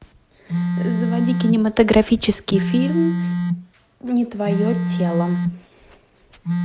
заводи кинематографический фильм не твое тело